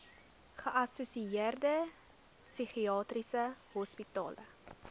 geassosieerde psigiatriese hospitale